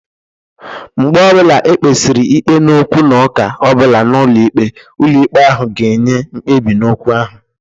Mgbe ọbụla ekpesiri ikpe n'okwu na ụka ọbụla nọ n'ụlọ ikpe, ụlọ ikpe ahụ ga-enye mkpebi n'okwu ahụ.